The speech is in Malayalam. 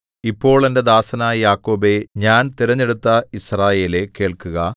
ഇപ്പോൾ എന്റെ ദാസനായ യാക്കോബേ ഞാൻ തിരഞ്ഞെടുത്ത യിസ്രായേലേ കേൾക്കുക